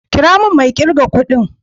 Kira min mai irga kudin.